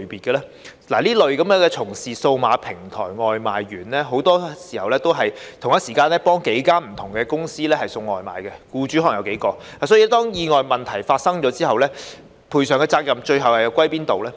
這類從事數碼平台的外賣員很多時候同時替數間不同的公司送外賣，僱主可能有數個，因此當意外和問題發生後，賠償的責任最後又屬於哪方呢？